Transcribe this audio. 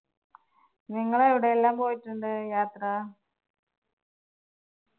നിങ്ങൾ എവിടെയെല്ലാം പോയിട്ടുണ്ട് യാത്ര?